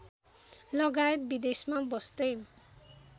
लगायत विदेशमा बस्दै